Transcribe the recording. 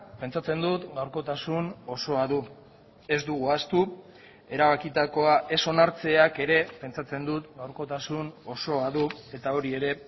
pentsatzen dut gaurkotasun osoa du ez dugu ahaztu erabakitakoa ez onartzeak ere pentsatzen dut gaurkotasun osoa du eta hori ere